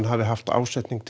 hafa haft ásetning